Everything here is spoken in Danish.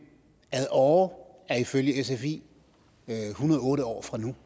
ad åre er ifølge sfi en hundrede og otte år fra nu